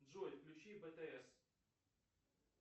джой включи бтс